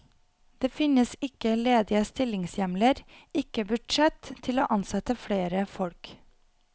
Det finnes ikke ledige stillingshjemler, ikke budsjett til å ansette flere folk.